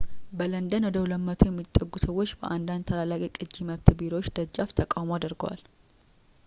በለንደን ወደ 200 የሚጠጉ ሰዎች በአንዳንድ ታላላቅ የቅጂ መብት ቢሮዎች ደጃፍ ተቃውሞ አድርገዋል